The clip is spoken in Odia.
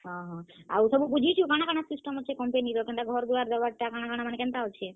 ହଁ ହଁ, ଆଉ ସବୁ ବୁଝିଛୁ କାଣା କାଣା system ଅଛେ company ର କେନ୍ତା ଘର ଦ୍ବାର ଦେବାର୍ ଟା କେନ୍ତା କାଣା ଅଛେ?